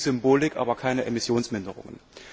Viel Symbolik, aber keine Emissionsminderungen.